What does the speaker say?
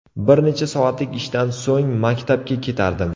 Bir necha soatlik ishdan so‘ng maktabga ketardim.